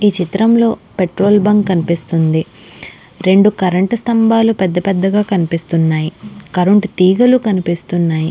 ఈ చిత్రం లో పెట్రోల్ బంక్ కనిపిస్తుంది రెండు కరెంటు స్థంబాలు పెద్ద పెద్దగా కనిపిస్తున్నాయి కరెంటు తీగలు కనిపిస్తున్నాయి.